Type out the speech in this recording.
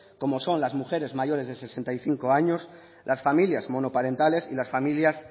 como son las mujeres mayores de sesenta y cinco años las familias monoparentales y las familias